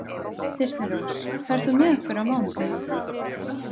Þyrnirós, ferð þú með okkur á mánudaginn?